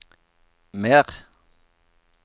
mer